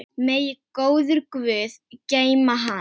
Megi góður guð geyma hann.